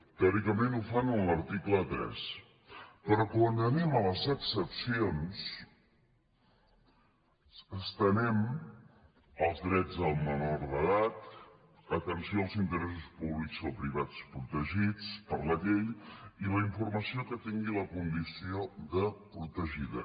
teòricament ho fan en l’article tres però quan anem a les excepcions estenem als drets dels menors d’edat atenció als interessos públics o privats protegits per la llei i la informació que tingui la condició de protegida